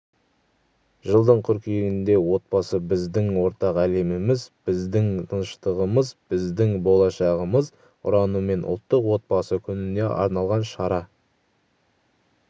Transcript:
жылдың қыркүйегінде отбасы біздің ортақ әлеміміз біздің тыныштығымыз біздің болашағымыз ұранымен ұлттық отбасы күніне арналған шара